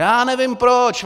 Já nevím proč.